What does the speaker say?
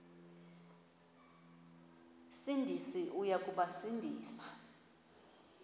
sindisi uya kubasindisa